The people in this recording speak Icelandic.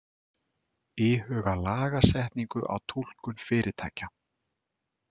Íhuga lagasetningu á túlkun fyrirtækja